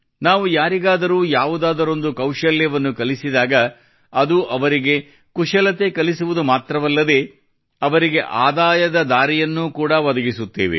ನಾವು ಯಾರಿಗಾದರೂ ಯಾವುದಾದರೊಂದು ಕೌಶಲ್ಯವನ್ನು ಕಲಿಸಿದಾಗ ಅದು ಅವರಿಗೆ ಕುಶಲತೆ ಕಲಿಸುವುದು ಮಾತ್ರವಲ್ಲದೇ ಅವರಿಗೆ ಆದಾಯದ ದಾರಿಯನ್ನು ಕೂಡಾ ಒದಗಿಸುತ್ತೇವೆ